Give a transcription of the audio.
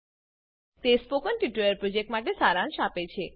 તે spoken tutorial પ્રોજેક્ટનો સારાંશ આપે છે